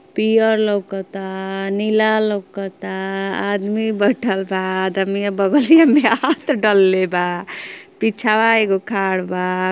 पियर लउकता नीला लउकता आदमी बेठल बा आदमी बगलिया में हाथ डलले बा पिछवा एगो खाड़ बा।